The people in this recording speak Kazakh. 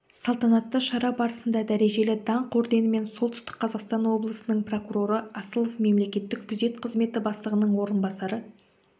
салтанатты шара барысында дәрежелі даңқ орденімен солтүстік қазақстан облысының прокуроры асылов мемлекеттік күзет қызметі бастығының орынбасары